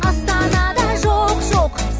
астанада жоқ жоқ